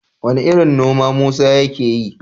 Wane irin noma Musa yake yi?